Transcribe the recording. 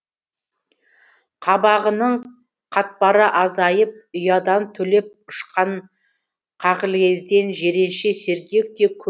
қабағының қатпары азайып ұядан түлеп ұшқан қағілезден жиренше сергек те көңілді де болды